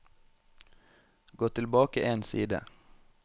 Gå tilbake én side